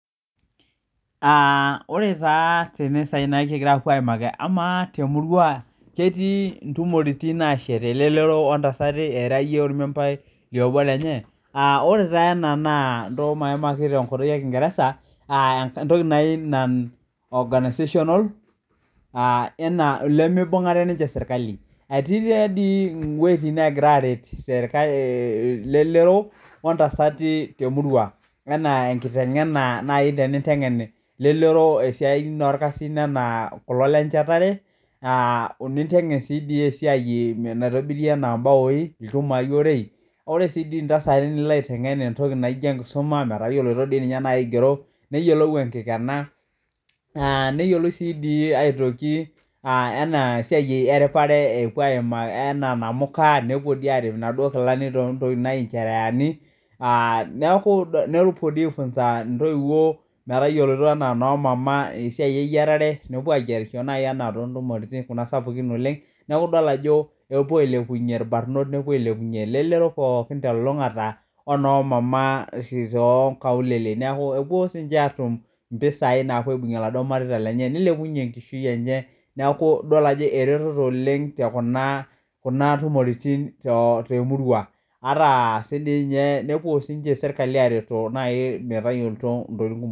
Aa ore taa tene kipoito aimaki amaa temurua etii ntumoritin nashe ntasata orkijanani ira iyie obo lenye, aa lre taa ena na nchoo maimaki tenkutuk ekingeresa aa organisational enaa enimibungare ninche serkali etii wuejitin nagira amir ntasata welelero aitngen siaitin naa kulo lenchetaee nintengen esiai naitobi ore ntasati nintengen enkisuma metaa yiolo enkigeroto neyiolou enitengena neyiolouni si aimaki anaa namuka nepuo arip nkilani neaku nepuoa aifunza noyieyio tesia eyiarare neaku idol ajo epuo ailepunye irbarnot onomama tonkaulele mpisai napuo aibungir laduo mareita enye ataa sinche nepuo serkali areto metayiolo ntokitin kumok